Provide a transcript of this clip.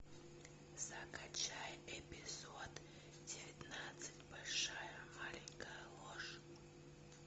закачай эпизод девятнадцать большая маленькая ложь